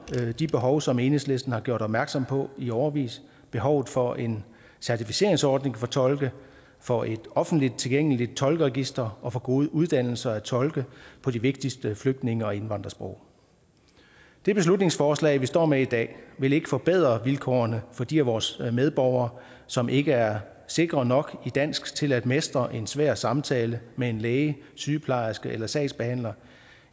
de behov som enhedslisten har gjort opmærksom på i årevis behovet for en certificeringsordning for tolke for et offentligt tilgængeligt tolkeregister og for gode uddannelser af tolke på de vigtigste flygtninge og indvandrersprog det beslutningsforslag vi står med i dag vil ikke forbedre vilkårene for de af vores medborgere som ikke er sikre nok i dansk til at mestre en svær samtale med en læge sygeplejerske eller sagsbehandler